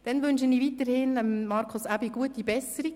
Dann wünsche ich weiterhin Markus Aebi gute Besserung.